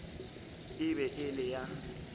e be e le ya